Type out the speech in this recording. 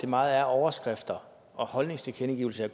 meget er overskrifter og holdningstilkendegivelser